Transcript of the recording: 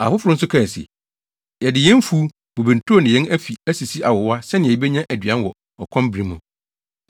Afoforo nso kae se, “Yɛde yɛn mfuw, bobe nturo ne yɛn afi asisi awowa sɛnea yebenya aduan wɔ ɔkɔm bere mu.”